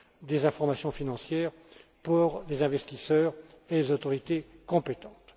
des informations financières pour les investisseurs et les autorités compétentes.